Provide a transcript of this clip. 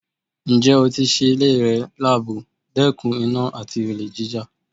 Ǹjẹ́ ó tí sé ilé rẹ̀ labò, dẹkùn iná àti olè jíjà?